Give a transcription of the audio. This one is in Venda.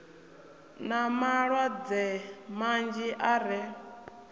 na malwadze manzhi e ra